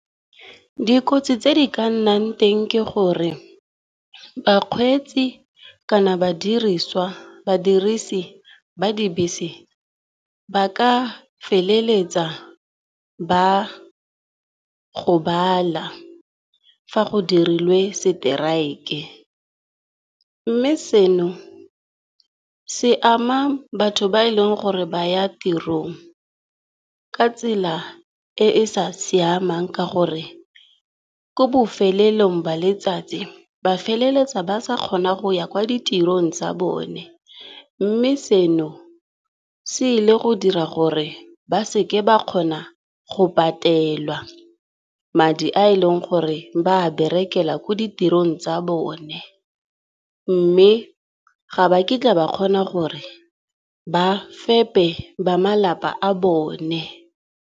Dikotsi tse di ka nnang teng ke gore bakgweetsi kana badirisi ba dibese, ba ka feleletsa ba gobala fa go dirilwe seteraeke. Mme seno se ama batho ba e leng gore ba ya tiro, ka tsela e e sa siamang ka gore ko bofelelong ba letsatsi ba feleletsa ba sa kgona go ya kwa ditirong tsa bone. Mme seno se ile go dira gore ba seke ba kgona go patelwa madi a eleng gore ba berekela ko ditirong tsa bone, mme ga ba kitla ba kgona gore ba fepe ba malapa a bone.